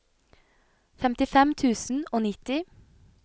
femtifem tusen og nitti